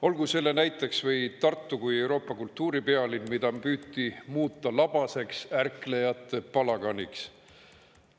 Olgu selle näiteks või Tartu kui Euroopa kultuuripealinn, mida püüti muuta labaseks ärklejate palaganiks.